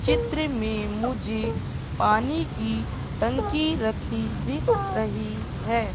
चित्र में मुझे पानी की टंकी रखी दिख रही है।